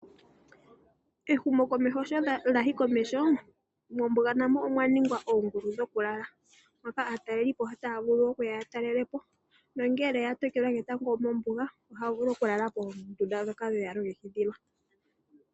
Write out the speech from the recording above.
Ehumokomeho sho lya yi komeho, mombuga na mo omwa ningwa oongulu dhokulala moka aatalelipo taya vulu okuya ya talele po nongele ya tokelwa ketango mombuga ohaya vulu okulala moongulu ndhoka dhe ya longekidhilwa.